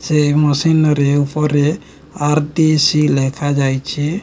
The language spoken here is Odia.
ସେ ମସିନାରୀ ଉପରେ ଆର୍_ଦି_ସି ଲେଖାଯାଇଛି।